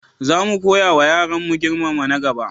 Za mu koyawa yaranmu girmama na gaba.